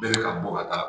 Bɛlɛ ka bɔ ka taa